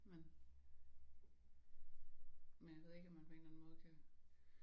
Men men jeg ved ikke om man på en eller anden måde kan